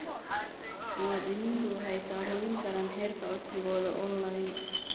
Muwaadiniintu waxay ka hubin karaan heerka codsigooda onlayn.